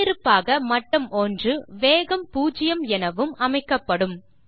முன்னிருப்பாக மட்டம் 1 வேகம் பூஜ்யம் எனவும் அமைக்கப்படும்